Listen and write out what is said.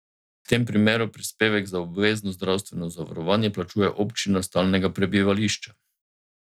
V tem primeru prispevek za obvezno zdravstveno zavarovanje plačuje občina stalnega prebivališča.